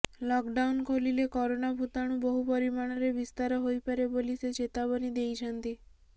lockdown ଖୋଲିଲେ corona ଭୂତାଣୁ ବହୁ ପରିମାଣରେ ବିସ୍ତାର ହୋଇପାରେ ବୋଲି ସେ ଚେତାବନୀ ଦେଇଛନ୍ତି